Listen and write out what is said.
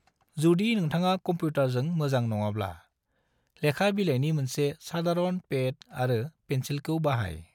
जुदि नोंथाङा कम्पुटरजों मोजां नङाब्ला, लेखा बिलाइनि मोनसे सादारन पेड आरो पेन्सिलखौ बाहाय।